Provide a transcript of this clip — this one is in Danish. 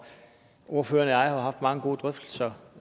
ordføreren og jeg har haft mange gode drøftelser